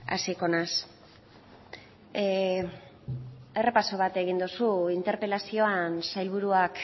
hasiko naiz errepaso bat egin duzu interpelazioan sailburuak